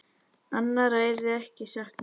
Annarra yrði ekki saknað.